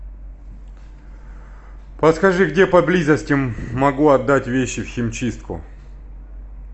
подскажи где поблизости могу отдать вещи в химчистку